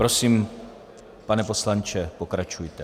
Prosím, pane poslanče, pokračujte.